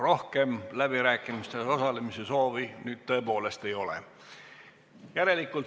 Rohkem läbirääkimistes osalemise soovi ei ole.